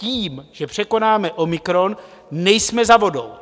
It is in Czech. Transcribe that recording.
Tím, že překonáme omikron, nejsme za vodou.